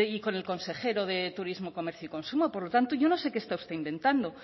y con el consejero de turismo comercio y consumo por lo tanto yo no sé qué está usted intentando